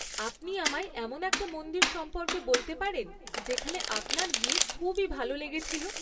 আপনি আমায় এমন একটা মন্দির সম্পর্কে বলতে পারেন যেখানে আপনার গিয়ে খুবই ভালো লেগেছিল?